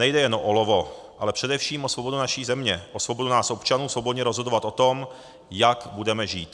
Nejde jen o olovo, ale především o svobodu naší země, o svobodu nás občanů svobodně rozhodovat o tom, jak budeme žít.